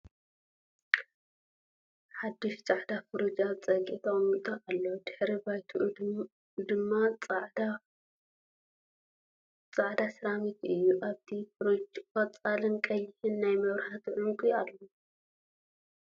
ሓዱሽ ፃዕዳ ፍርጅ ኣብ ፀግዒ ተቀሚጥ ኣሎ ። ድሕረ ባይትኡ ድም ፅዕዳ ሴራሚክ እዩ ። ኣብቲ ፍሪጅ ቆፃልን ቀይሕን ናይ መብራህቲ ዑንቂ ኣለዉ ።